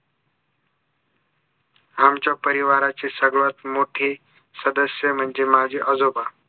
आमच्या परिवाराचे सर्वात मोठे सदस्य म्हणजे माझे आजोबा